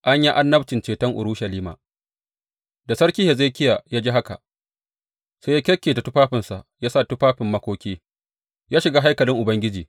An yi annabcin ceton Urushalima Da sarki Hezekiya ya ji haka, sai ya kyakketa tufafinsa, ya sa tufafin makoki, ya shiga haikalin Ubangiji.